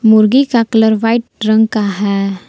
मुर्गी का colour white रंग का है।